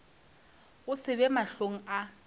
go se be mahlong a